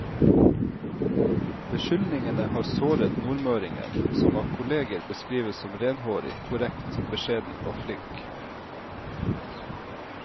Beskyldningene har såret nordmøringen, som av kolleger beskrives som renhårig, korrekt, beskjeden og flink.